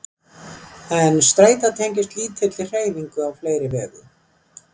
En streita tengist lítilli hreyfingu á fleiri vegu.